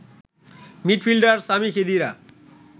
midfielder Sami Khedira